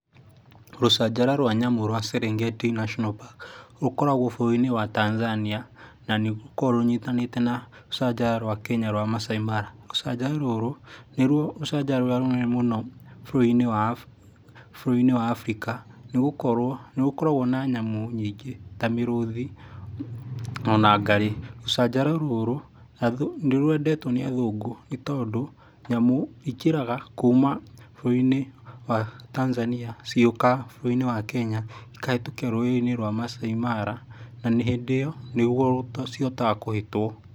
Rũcanjara rwa nyamũ rwa Serengetti National Park, rũkoragwo bũrũri-inĩ wa Tanzania, na nĩ rũkoragwo rũnyitanĩte na rũcanjara rwa Kenya, rwa Masai Mara. Rũcanjara rũrũ, nĩ ruo rũcanjara rũrĩa rũnene mũno bũrũri-inĩ wa bũrũri-inĩ wa Africa, nĩ gũkorwo nĩ rũkoragwo na nyamũ nyingĩ ta mĩrũthi, ona ngarĩ, rũcanjara rũrũ nĩ rwendetwo nĩ athũngũ nĩ tondũ nyamũ ikĩraga kuuma bũrũri-inĩ wa Tanzania cigĩũka bũrũri-inĩ wa Kenya, cikahĩtũkĩra rũĩ-inĩ rwa Masai Mara, na hĩndĩ ĩyo, nĩ rĩo cihotaga kũhĩtwo.